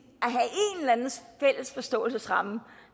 eller anden fælles forståelsesramme